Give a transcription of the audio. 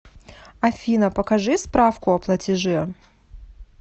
афина покажи справку о платеже